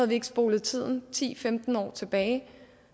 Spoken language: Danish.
vi ikke spolet tiden ti til femten år tilbage